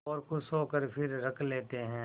और खुश होकर फिर रख लेते हैं